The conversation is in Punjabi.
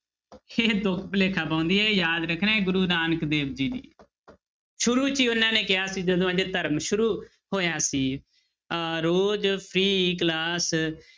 ਇਹ ਤੁੱਕ ਭੁਲੇਖਾ ਪਾਉਂਦੀ ਹੈ ਯਾਦ ਰੱਖਣਾ ਹੈ ਗੁਰੂ ਨਾਨਕ ਦੇਵ ਜੀ ਦੀ ਸ਼ੁਰੂ 'ਚ ਹੀ ਉਹਨਾਂ ਨੇ ਕਿਹਾ ਸੀ ਜਦੋਂ ਹਜੇ ਧਰਮ ਸ਼ੁਰੂ ਹੋਇਆ ਸੀ ਅਹ ਰੋਜ਼ free class